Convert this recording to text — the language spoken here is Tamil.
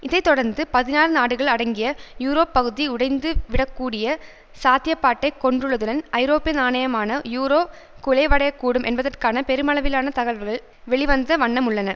இதை தொடர்ந்து பதினாறு நாடுகள் அடங்கிய யூரோப் பகுதி உடைந்துவிடக்கூடிய சாத்தியப்பாட்டை கொண்டுள்ளதுடன் ஐரோப்பிய நாணயமான யூரோ குலைவடையக்கூடும் என்பதற்கான பெருமளவிலான தகவல்கள் வெளிவந்த வண்ணமுள்ளன